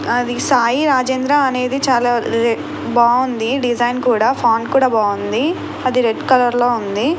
అది సాయి రాజేంద్ర అనేది చాలా బాగుంది డిజైన్ కూడా ఫాంట్ కూడా బాగుంది అది రెడ్ కలర్ లో ఉంది.